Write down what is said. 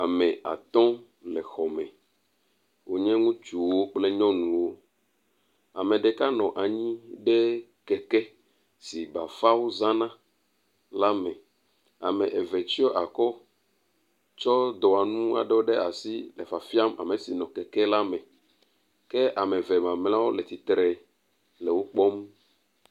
Ame atɔ le xɔ me. Wo nye ŋutsuwo kple nyɔnuwo. Ame ɖeka nɔ anyi ɖe keke si bafawo zana la me. Ame eve tsɔ akɔ tsɔ dɔwɔnu aɖewo ɖe asi le fafiam ame si nɔ keke la me. Ke ame eve mamleawo le tsitre le wo kpɔm.